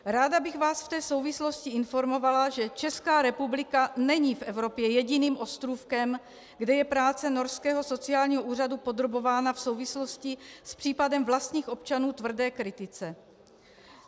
Ráda bych vás v té souvislosti informovala, že Česká republika není v Evropě jediným ostrůvkem, kde je práce norského sociálního úřadu podrobována v souvislosti s případem vlastních občanů tvrdé kritice.